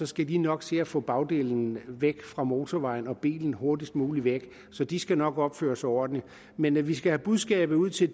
skal de nok se at få bagdelen væk fra motorvejen og bilen hurtigst muligt væk så de skal nok opføre sig ordentligt men vi skal have budskabet ud til